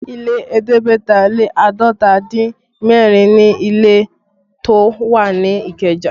Ilé ẹ̀ẹ́dẹ́gbẹ̀ta lé àádọ́ta dín mẹ́rin ni ilé tó wà ní Ikeja